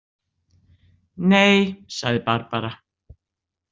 Nei, sagði Barbara.